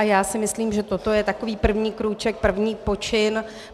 A já si myslím, že toto je takový první krůček, první počin.